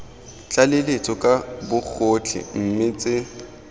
tlaleletso ka bogotlhe mme tse